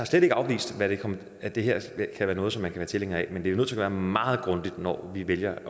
slet ikke afvist at det her kan være noget som man kan være tilhænger af men vi er nødt til at meget grundigt når vi vælger at